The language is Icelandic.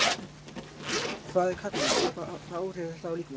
Hvað er kadmín og hvaða áhrif hefur það á líkamann?